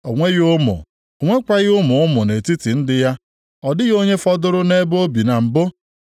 O nweghị ụmụ, o nwekwaghị ụmụ ụmụ nʼetiti ndị ya, ọ dịghị onye fọdụrụ nʼebe o bi na mbụ.